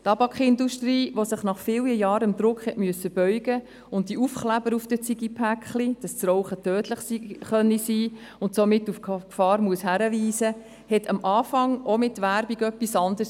Die Tabakindustrie, die sich nach vielen Jahren dem Druck beugen musste und die Aufkleber auf den Zigarettenpackungen anbrachte, dass Rauchen tödlich sein kann, verbreitete mit Werbung zu Beginn auch etwas anderes.